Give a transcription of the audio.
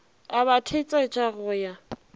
a ba thetsetša go ya